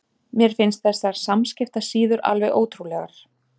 Mér finnst þessar samskiptasíður alveg ótrúlegar.